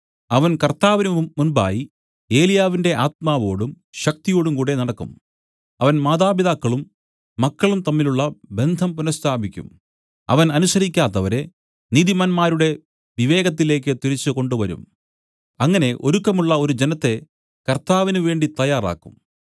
അവൻ കർത്താവിന് മുമ്പായി ഏലിയാവിന്റെ ആത്മാവോടും ശക്തിയോടുംകൂടെ നടക്കും അവൻ മാതാപിതാക്കളും മക്കളും തമ്മിലുള്ള ബന്ധം പുനസ്ഥാപിക്കും അവൻ അനുസരിക്കാത്തവരെ നീതിമാന്മാരുടെ വിവേകത്തിലേക്ക് തിരിച്ചു കൊണ്ടുവരും അങ്ങനെ ഒരുക്കമുള്ള ഒരു ജനത്തെ കർത്താവിനുവേണ്ടി തയ്യാറാക്കും